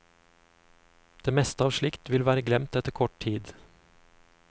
Det meste av slikt vil være glemt etter kort tid.